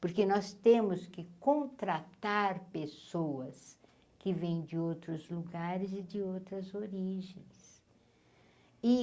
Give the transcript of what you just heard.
Porque nós temos que contratar pessoas que vêm de outros lugares e de outras origens. e